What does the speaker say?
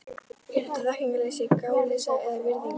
Er þetta þekkingarleysi, gáleysi eða virðingarleysi?